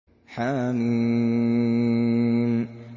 حم